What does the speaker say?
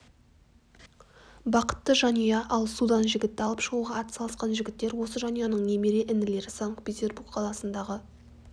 бақытты жанұя ал судан жігітті алып шығуға атсалысқан жігіттер осы жанұяның немере інілері санкт-петербург қаласындағы